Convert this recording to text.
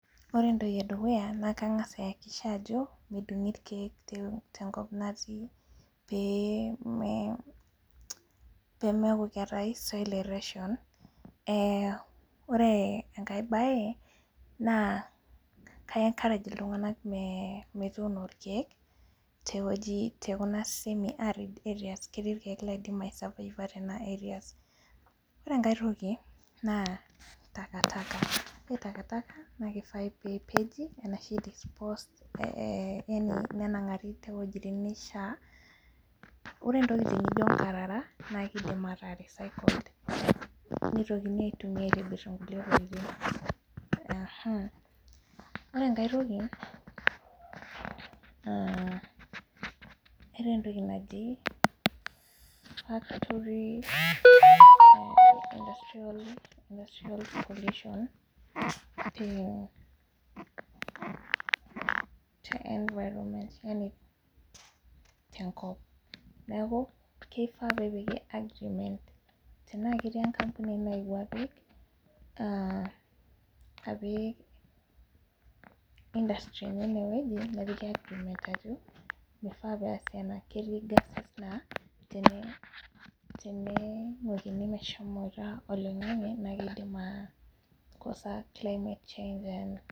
Ore entoki edukuya na kangasa aiakikisha ajo medungi irkiek tenkop natii pee pemeaku keetae soil erosion ore enkae bae na ka encourage iltunganak metruno irkiek tekuna wuejitin ore enkae toki na takataka ore takataka na kifai pepeji arashu nenengari towuejitin nishaa ore ntokitin nijo nkarara na kidim ataa recycled nitoki aitumiabaitobir nkulie tokitin ore enkae toki eetae entoki naji factory industrial pollution te environment tenkop neaku kifaa pepiki agreement neaku tana ketii enkapuni naewuo apik industry enye inewueji nepiki ajo mifaa peasi ena ketii geses na teningukini meshomo oloingangi na kidim aikosa climate change